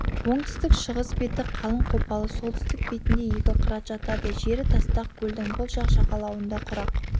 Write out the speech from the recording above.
оңтүстік-шығыс беті қалың қопалы солтүстік бетінде екі қырат жатады жері тастақ көлдің бұл жақ жағалауында құрақ